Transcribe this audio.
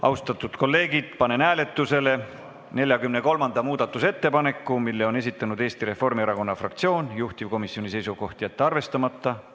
Austatud kolleegid, panen hääletusele 43. muudatusettepaneku, mille on esitanud Eesti Reformierakonna fraktsioon, juhtivkomisjoni seisukoht: jätta see arvestamata.